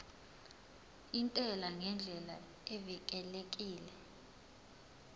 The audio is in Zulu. intela ngendlela evikelekile